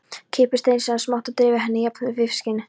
Klippið steinseljuna smátt og dreifið henni jafnt yfir fiskinn.